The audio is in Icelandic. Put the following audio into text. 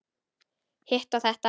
Hitt og þetta.